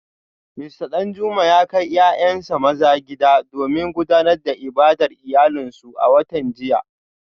Mista Danjuma ya kai ‘ya’yansa maza gida domin gudanar da ibadar iyalansu a watan jiya